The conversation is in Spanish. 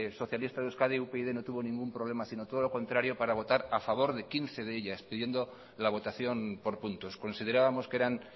socialista de euskadi upyd no tuvo ningún problema sino todo lo contrario para votar a favor de quince de ellas pidiendo la votación por puntos considerábamos que eran